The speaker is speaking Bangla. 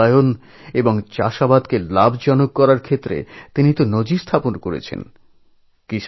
নারীদের ক্ষমতায়ন এবং কৃষিকে লাভজনক করে তোলার লক্ষ্যে তিনি এক দৃষ্টান্ত স্থাপন করেছেন